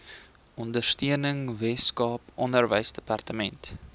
ondersteuning weskaap onderwysdepartement